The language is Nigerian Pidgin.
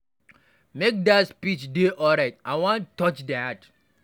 Make dat speech dey alright, I wan touch their heart.